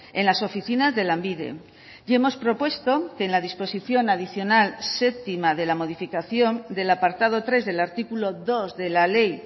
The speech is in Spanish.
en las oficinas de lanbide y hemos propuesto que en la disposición adicional séptima de la modificación del apartado tres del artículo dos de la ley